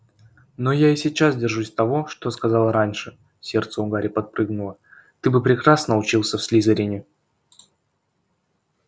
но я и сейчас держусь того что сказала раньше сердце у гарри подпрыгнуло ты бы прекрасно учился в слизерине